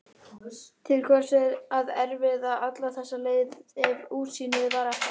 Til hvers að erfiða alla þessa leið ef útsýnið var ekkert?